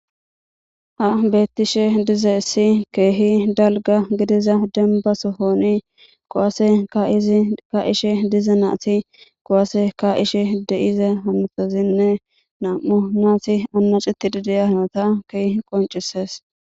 Ha beettishe dize issi keehi dalga gidiza dembasohooni kowaase ka ishe dize naati kowase ka ishe deize hamutozinne nam7u naati annaciti dideyahnota keeh qoncisees